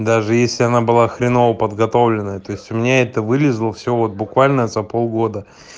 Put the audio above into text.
даже если она было хреново подготовленная то есть у меня это вылезло всё вот буквально за полгода